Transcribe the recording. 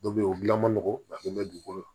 Dɔ be yen o gilan ma nɔgɔn a kun bɛ dugukolo